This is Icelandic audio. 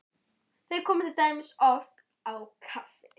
Þeir koma til dæmis oft á kaffi